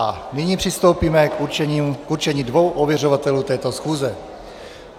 A nyní přistoupíme k určení dvou ověřovatelů této schůze.